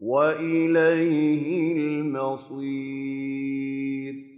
وَإِلَيْهِ الْمَصِيرُ